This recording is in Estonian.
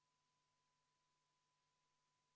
Vaheaeg on läbi.